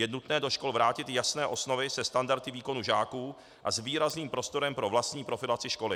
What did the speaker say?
Je nutné do škol vrátit jasné osnovy se standardy výkonů žáků a s výrazným prostorem pro vlastní profilaci školy.